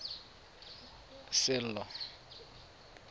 sello